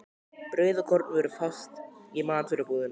Brauð og kornvörur fást í matvörubúðinni.